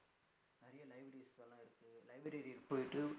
Library போய்ட்டு